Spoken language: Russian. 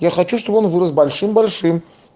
я хочу чтобы он вырос большим большим